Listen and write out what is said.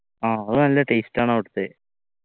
ആഹ് അത് നല്ല taste ആണ് അവിട്ത്തെ